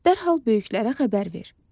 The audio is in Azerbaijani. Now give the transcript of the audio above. Dərhal böyüklərə xəbər ver.